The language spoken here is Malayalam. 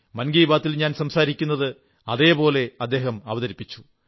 മൻ കീബാത്തിൽ ഞാൻ സംസാരിക്കുന്നത് അതേപോലെ അവതരിപ്പിച്ചു